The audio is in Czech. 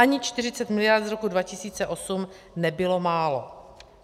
Ani 40 miliard z roku 2008 nebylo málo.